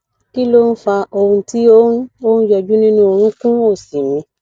kí ló fa ohùn tí ó ń ó ń yọjú nínú orunkun òsì mi